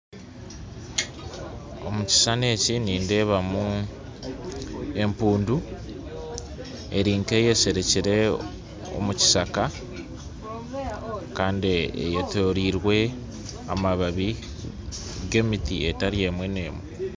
Omu kishushani eki nindeebamu empundu eri nk'eyesherekire omu kishaka kandi eyetoreirwe amababi g'emiti etari emwe n'emwe